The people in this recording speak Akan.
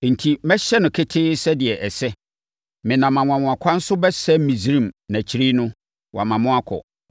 Enti, mɛhyɛ no ketee sɛdeɛ ɛsɛ. Menam anwanwakwan so bɛsɛe Misraim na akyire no, wama mo akɔ.